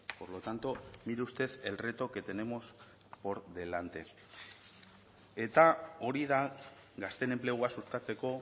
por lo tanto mire usted el reto que tenemos por delante eta hori da gazteen enplegua sustatzeko